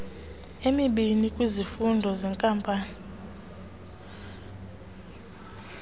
emibini kwizifundo zeenkampani